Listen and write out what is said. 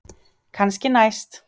Kannski næst.